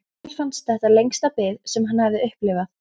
Emil fannst þetta lengsta bið sem hann hafði upplifað.